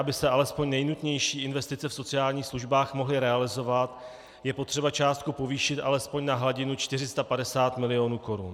Aby se alespoň nejnutnější investice v sociálních službách mohly realizovat, je potřeba částku povýšit alespoň na hladinu 450 mil. korun.